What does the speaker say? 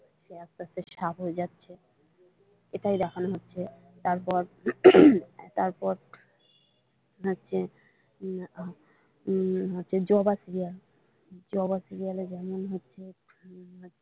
সে আস্তে আস্তে সাপ হয়ে যাচ্ছে এটাই দেখানো হচ্ছে তারপর উম তারপর হচ্ছে জবা সিরিয়াল জবা সিরিয়ালে যেমন হচ্ছে।